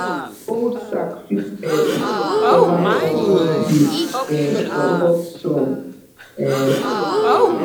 old sack fit help cover compost bin um from hot sun um